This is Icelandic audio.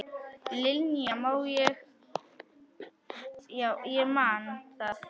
Linja, já ég man það.